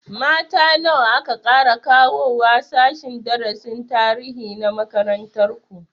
Mata nawa aka ƙara kawowa sashen darasin tarihi na makarantar ku?